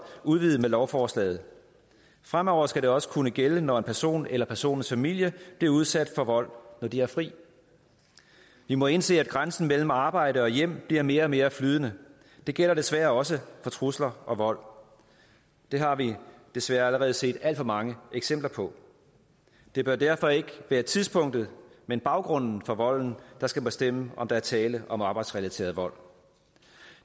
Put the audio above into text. udvidet med lovforslaget fremover skal det også kunne gælde når en person eller en persons familie bliver udsat for vold når de har fri vi må indse at grænsen mellem arbejde og hjem bliver mere og mere flydende det gælder desværre også for trusler og vold det har vi desværre allerede set alt for mange eksempler på det bør derfor ikke være tidspunktet men baggrunden for volden der skal bestemme om der er tale om arbejdsrelateret vold